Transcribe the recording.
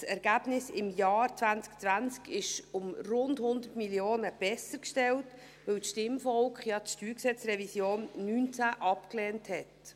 Das Ergebnis des Jahres 2020 sieht um rund 100 Mio. Franken besser aus, weil das Stimmvolk die StG-Revision 2019 abgelehnt hat.